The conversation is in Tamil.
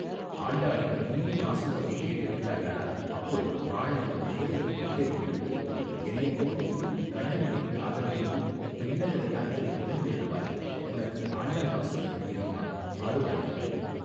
ஆண்டாளின் இனிய பாசுரத்தைக் கேட்டு விட்டாயானால் அப்புறம் வாளையும் வேலையும் விட்டெறிந்து விட்டு என்னைப் போல் நீயும் கண்ணன் மேல் காதல் கொண்டு விண்ணகர யாத்திரை கிளம்பி விடுவாய் உனக்கு ஆண்டாள் பாசுரங்கள் தெரியுமா பாடுவாயா.